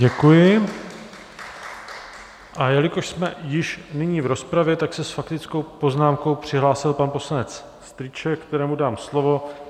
Děkuji, a jelikož jsme již nyní v rozpravě, tak se s faktickou poznámkou přihlásil pan poslanec Strýček, kterému dám slovo.